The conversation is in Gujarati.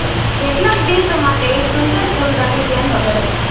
કેટલાક દિવસો માટે એક સુંદર ફૂલદાની ધ્યાન વગર હતી